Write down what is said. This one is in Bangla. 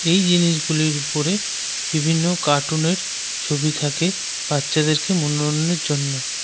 এই জিনিসগুলির ওপরে বিভিন্ন কার্টুন -এর ছবি থাকে। বাচ্চাদেরকে মনোনন্যের জন্য।